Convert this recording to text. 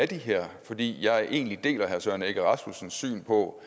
det her fordi jeg egentlig deler herre søren egge rasmussens syn på